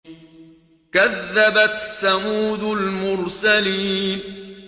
كَذَّبَتْ ثَمُودُ الْمُرْسَلِينَ